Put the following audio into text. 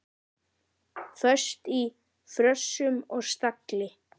Föst í frösum og stagli.